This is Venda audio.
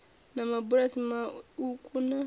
na mabulasi mauku na a